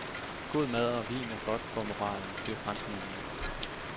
God mad og vin er godt for moralen, siger franskmændene.